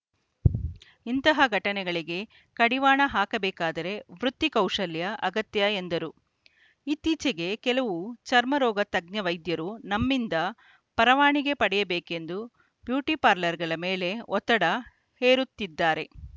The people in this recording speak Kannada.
ಇಂತಹ ಘಟನೆಗಳಿಗೆ ಕಡಿವಾಣ ಹಾಕಬೇಕಾದರೆ ವೃತ್ತಿ ಕೌಶಲ್ಯ ಅಗತ್ಯ ಎಂದರು ಇತ್ತೀಚೆಗೆ ಕೆಲವು ಚರ್ಮ ರೋಗ ತಜ್ಞ ವೈದ್ಯರು ನಮ್ಮಿಂದ ಪರವಾನಗಿ ಪಡೆಯಬೇಕೆಂದು ಬ್ಯೂಟಿಪಾರ್ಲರ್‌ಗಳ ಮೇಲೆ ಒತ್ತಡ ಹೇರುತ್ತಿದ್ದಾರೆ